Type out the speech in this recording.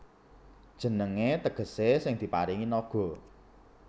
Jenengé tegesé Sing Diparingi Naga